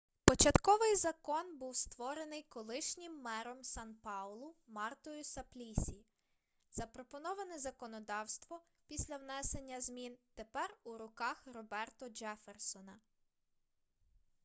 початковий закон був створений колишнім мером сан-паулу мартою саплісі запропоноване законодавство після внесення змін тепер у руках роберто джефферсона